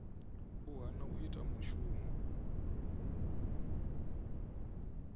u hana u ita mushumo